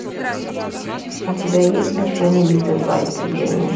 у тебя есть смертельная битва два истребление